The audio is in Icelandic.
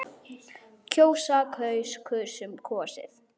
Þetta hittist þannig á.